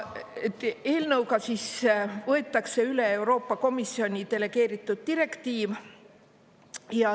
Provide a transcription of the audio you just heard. Eelnõuga võetakse üle Euroopa Komisjoni delegeeritud direktiiv.